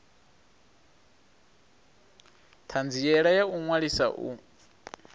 thanziela ya u ṅwalisa u